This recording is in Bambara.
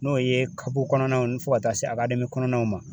N'o ye kapu kɔnɔnaw ni fɔ ka taa se akademi kɔnɔnaw ma